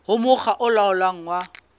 ho mokga o laolang wa